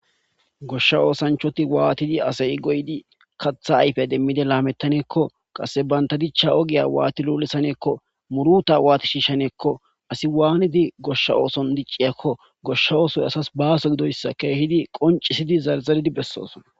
Goshsha oosanchoti waatidi asayi goydi katha ayfe demmide laamettaneekko qasse banta dichcha ogiya waati luulesaneekko muruta waati shiishaneekko asi waanidi goshsha ooson dicciyakko goshsha oosoy asas baaso gidoyssa keehidi qoncisidi zarzaridi bessoosona.